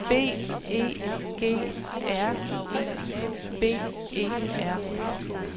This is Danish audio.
B E G R I B E R